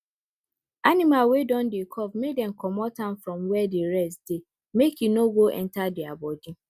animal wey don dey cough make dem comot am from where the rest dey make e no go enter their body